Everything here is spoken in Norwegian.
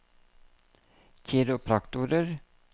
kiropraktorer